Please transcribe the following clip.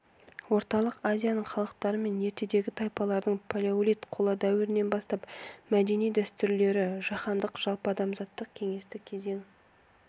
орталық азияның халықтары мен ертедегі тайпаларының палеолит қола дәуірлерінен бастап мәдени дәстүрлері жаһандық жалпыадамзаттық кеңестік кезең